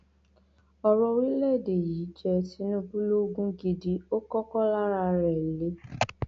ọrọ orílẹèdè yìí jẹ tinubu lógún gidi ó kọkọ lára rẹ le